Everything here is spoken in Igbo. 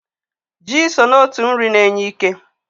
Ji so n'otu nri na-enye ike.